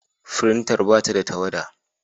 Firintar ba ta da tawada.